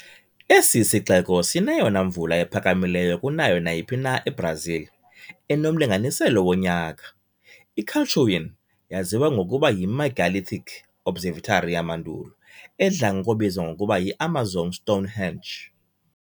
Esi sixeko sineyona mvula iphakamileyo kunayo nayiphi na eBrazil, enomlinganiselo wonyaka. I-Calçoene yaziwa ngokuba yi-megalithic observatory yamandulo, edla ngokubizwa ngokuba yi "Amazon Stonehenge".